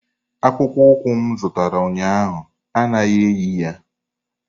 Akpụkpọ ụkwụ m zụtara ụnyahụ anaghị eyi ya!